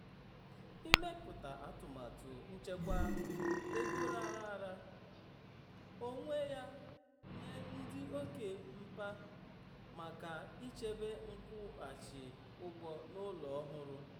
ịmepụta atụmatụ nchekwa um ego raara um onwe ya um nye dị oke mkpa maka ịchebe nkwụghachi ụgwọ n'ụlọ ọhụrụ.